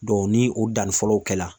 ni o danni fɔlɔw kɛla